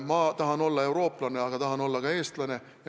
Mina tahan olla eurooplane, aga tahan olla ka eestlane.